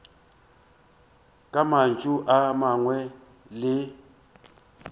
ka mantšu a mangwe le